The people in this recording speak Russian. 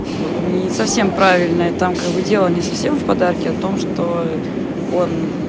вот не совсем правильно там как дела не совсем в подарке а том что он